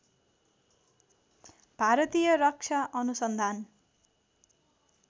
भारतीय रक्षा अनुसन्धान